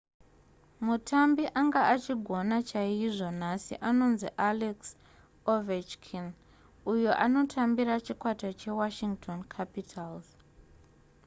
mutambi anga achigona chaizvo nhasi anonzi alex ovechkin uyo anotambira chikwata chewashington capitals